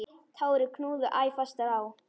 Tárin knúðu æ fastar á.